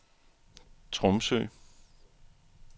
Tromsø